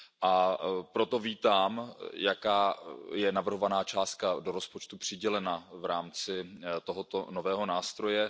A proto vítám, jaká navrhovaná částka je do rozpočtu přidělena v rámci tohoto nového nástroje.